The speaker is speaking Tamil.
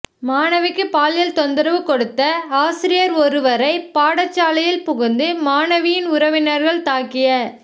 மாணவிக்கு பாலியல் தொந்தரவு கொடுத்த ஆசிரியர் ஒருவரை பாடசாலையில் புகுந்து மாணவியின் உறவினர்கள் தாக்கிய